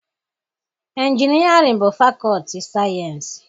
Injinịarịan bụ fakọọti sayịensị